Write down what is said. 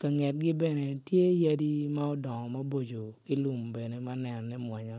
kangetgi bene tye yadi bene ki lum ma dodongo maboco ma nenone mwonya